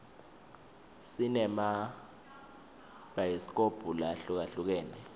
sinema bhayisikobhu lahlukahlukene